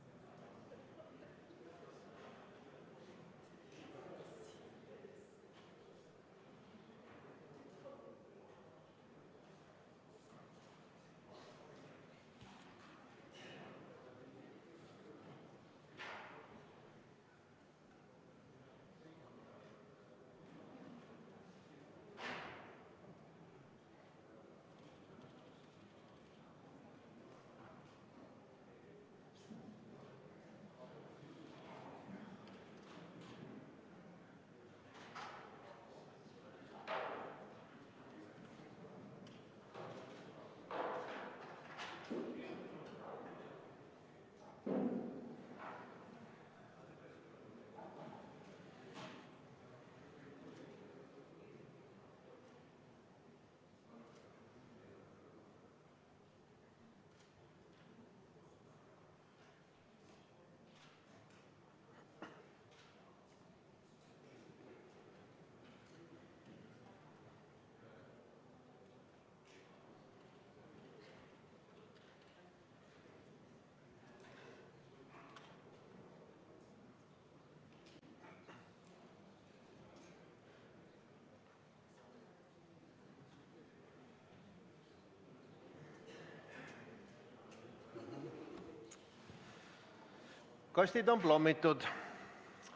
Kastid on plommitud.